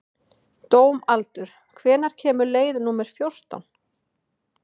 Dómaldur, hvenær kemur leið númer fjórtán?